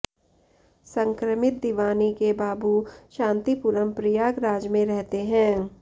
संक्रमित दीवानी के बाबू शांतिपुरम प्रयागराज में रहते हैं